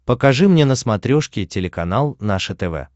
покажи мне на смотрешке телеканал наше тв